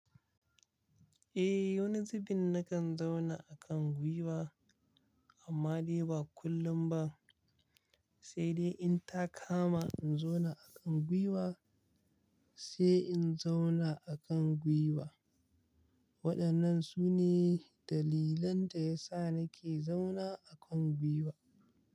Eh, wani zubin na kan zauna a kan gwiwa amma dai ba kullum ba, sai dai in ta kama in zauna a kan gwiwa sai in zauna a kan gwiwa. Waɗannan su ne dalilan da ya sa na ke zauna a kan gwiwa.